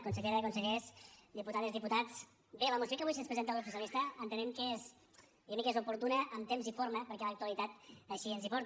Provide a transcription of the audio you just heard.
consellera consellers diputades diputats bé la moció que avui ens presenta el grup socialista entenem que és diguem ne oportuna en temps i forma perquè l’actualitat així ens hi porta